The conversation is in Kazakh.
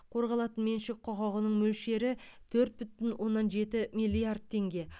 қорғалатын меншік құқығының мөлшері төрт бүтін оннан жеті миллиард теңге